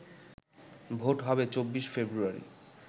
vote হবে ২৪ ফেব্রুয়ারি